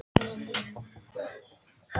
Mér líður miklu betur án þess, segir hún.